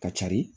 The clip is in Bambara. Ka cari